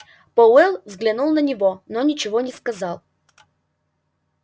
пауэлл взглянул на него но ничего не сказал